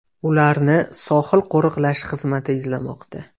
Ularni sohil qo‘riqlash xizmati izlamoqda.